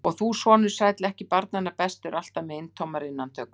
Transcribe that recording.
Og þú, sonur sæll, ekki barnanna bestur, alltaf með eintómar innantökur!